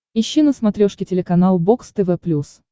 ищи на смотрешке телеканал бокс тв плюс